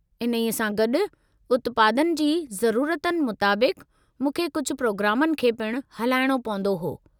इन्ही सां गॾु, उत्पादनि जी ज़रुरतनि मुताबिक़ु मूंखे कुझु प्रोग्रामनि खे पिण हलाइणो पवंदो हो।